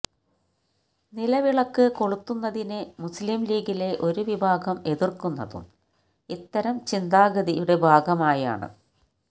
നിലവിളക്ക് കൊളുത്തുന്നതിനെ മുസ്ലിംലീഗിലെ ഒരു വിഭാഗം എതിര്ക്കുന്നതും ഇത്തരം ചിന്താഗതിയുടെ ഭാഗമായാണ്